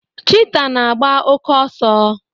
Chita na agba oke ọsọ